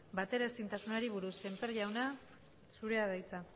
bateraezintasunari buruz sémper jauna zurea da hitza